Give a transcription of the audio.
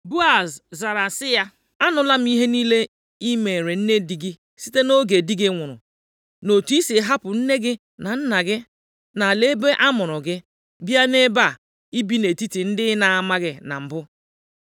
Boaz zara sị ya, “Anụla m ihe niile i meere nne di gị site nʼoge di gị nwụrụ, na otu i si hapụ nne gị na nna gị, na ala ebe amụrụ gị, bịa nʼebe a ibi nʼetiti ndị ị na-amaghị na mbụ.